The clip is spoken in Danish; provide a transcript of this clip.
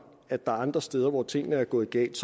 at der er andre steder hvor tingene er gået galt